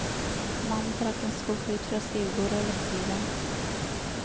Mannen trakk en skuff ut fra skrivebordet og lette i den.